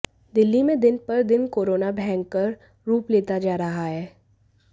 दिल्ली में दिन पर दिन कोरोना भयंकर रूप लेता जा रहा है